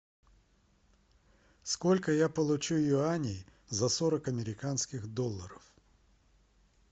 сколько я получу юаней за сорок американских долларов